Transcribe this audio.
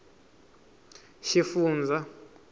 xifundzha